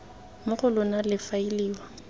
mo go lona le faeliwa